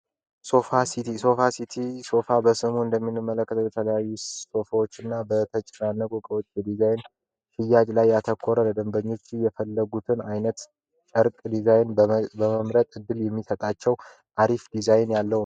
ሶፋ ሲቲ ሶፋ ሲቲ ሶፋ በስሙ እንደሚንመለከት የተለዩ ሶፋዎች እና በተጭራነ ቁቀዎች በዲዛይን ፍያጅ ላይ ያተኮረ ለደንበኞች የፈለጉትን ዓይነት ጨርቅ ዲዛይን በመምረጥ ዕድል የሚሰጣቸው አሪፍ ዲዛይን ያለው።